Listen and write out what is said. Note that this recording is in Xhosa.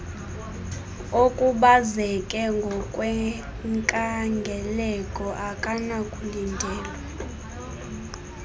okhubazeke ngokwenkangeleko akanakulindelwa